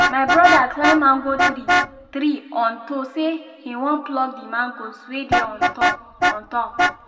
my broda climb mango tree tree unto say him won pluck the mangoes wey dey on top on top